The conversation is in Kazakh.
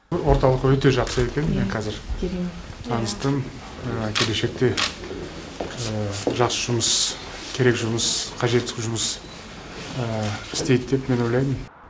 орталық өте жақсы екен ия мен қазір керемет таныстым келешекте жақсы жұмыс керек жұмыс қажетті жұмыс істейді деп мен ойлаймын